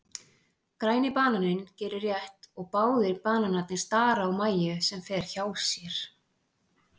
Græni bananinn gerir rétt og báðir bananarnir stara á Mæju sem fer hjá sér.